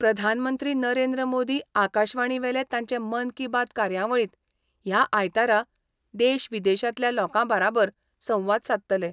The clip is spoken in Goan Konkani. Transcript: प्रधानमंत्री नरेंद्र मोदी आकाशवाणी वेले तांचे मन की बात कार्यावळींत ह्या आयतारा देशविदेशांतल्या लोकां बाराबर संवाद सादतले.